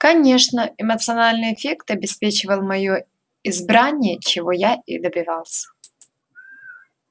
конечно эмоциональный эффект обеспечивал моё избрание чего я и добивался